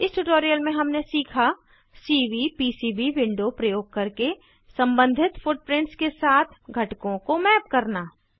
इस ट्यूटोरियल में हमने सीखा सीवीपीसीबी विंडो प्रयोग करके सम्बंधित फुटप्रिंट्स के साथ घटकों को मैप करना